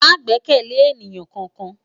Má gbèkèlé éniyán kánkán